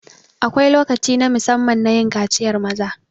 Akwai lokaci na musamman nayin kaciyar maza